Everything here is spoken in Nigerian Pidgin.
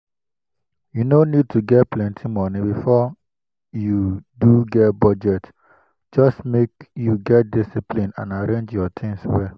u no need to get plenty money before you do get budget just make you get discipline and arrange your things well.